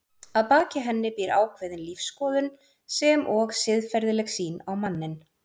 Að baki henni býr ákveðin lífsskoðun sem og siðferðileg sýn á manninn.